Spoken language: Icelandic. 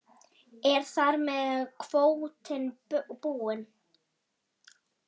Er þar með kvótinn búinn?